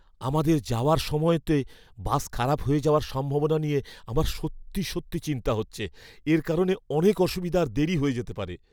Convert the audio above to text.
আমাদের যাওয়ার সময়তে বাস খারাপ হয়ে যাওয়ার সম্ভাবনা নিয়ে আমার সত্যি চিন্তা হচ্ছে, এর কারণে অনেক অসুবিধা আর দেরী হয়ে যেতে পারে!